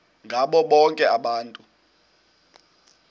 ngabo bonke abantu